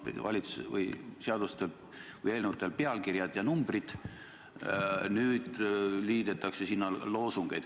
Siiani on eelnõudel olnud teistsugused pealkirjad ja numbrid, nüüd liidetakse sinna loosungeid.